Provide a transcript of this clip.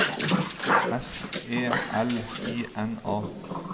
S E L I N A